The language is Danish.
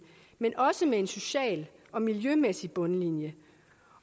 men også med en social og miljømæssig bundlinje